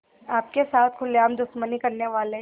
आपके साथ खुलेआम दुश्मनी करने वाले